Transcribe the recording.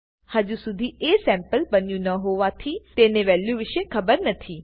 હજુ શુધી અસેમ્પલ બન્યું ન હોવાથી તેને વેલ્યુ વિશે ખબર નથી